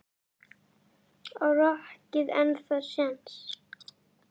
Á rokkið ennþá séns?